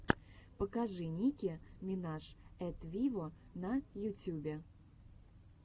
покажи ники минаж эт виво на ютьюбе